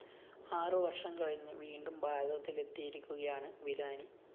ആറുവര്‍ഷം കഴിഞ്ഞ് വീണ്ടും ഭാരതത്തിലെത്തിയിരിക്കുകയാണ് വിലാനി